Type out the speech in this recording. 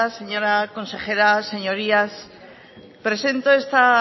señora consejera señorías presento esta